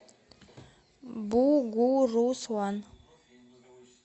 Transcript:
бугуруслан